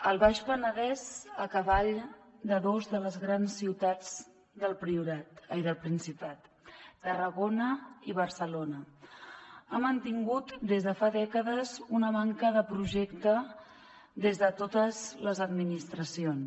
el baix penedès a cavall de dos de les grans ciutats del principat tarragona i barcelona ha mantingut des de fa dècades una manca de projecte des de totes les administracions